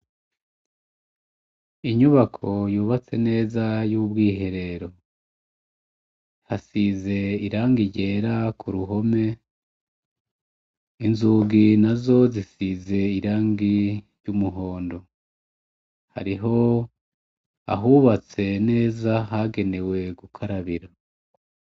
Inyubako yubatse neza y'ubwiherero, hasize irangi ryera ku ruhome. inzugi nazo zisize irangi ry'umuhondo. Hariho ahubatse neza hagenewe gukarabira.